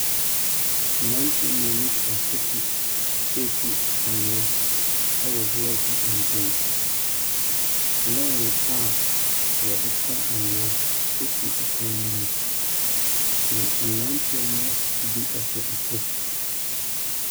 Mmranteɛ mmienu retu anwea wɔ blɔɔk nkyɛn. Lɔɔre a wɔde fa anwea si kwan no mu. Na mmaranteɛ bi hyɛ kyɛ.